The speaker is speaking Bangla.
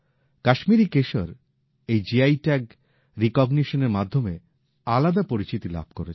কাশ্মীরী কেশর এই জিআই ট্যাগ স্বীকৃতির মাধ্যমে আলাদা পরিচিতি লাভ করেছে